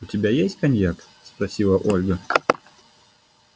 у тебя есть коньяк спросила ольга